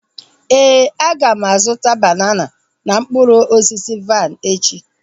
Éè, aga m azụta banana na mkpụrụ osisi vaịn echi